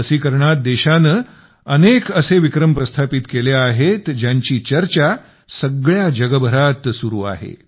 लसीकरणात देशाने अनेक असे विक्रम प्रस्थापित केले आहेत ज्यांची चर्चा सगळ्या जगभरात सुरु आहे